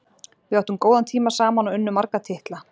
Við áttum góðan tíma saman og unnum marga titla.